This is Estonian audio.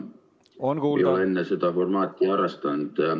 Ma ei ole enne seda formaati harrastanud.